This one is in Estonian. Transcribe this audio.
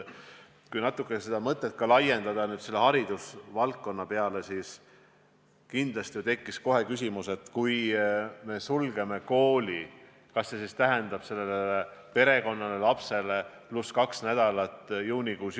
Kui natuke seda mõtet laiendada haridusvaldkonnale, siis kindlasti tekiks kohe küsimus, et kui sulgeme praegu kooli, siis kas see tähendab sellele perekonnale, lapsele kahte lisakoolinädalat juunikuus.